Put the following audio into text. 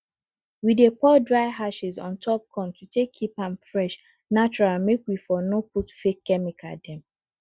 we dey pour dry ashes ontop corn to take keep am fresh natural make we for no put fake chemical dem